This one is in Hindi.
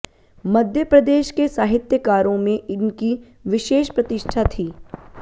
मध्य प्रदेश के साहित्यकारों में इनकी विशेष प्रतिष्ठा थी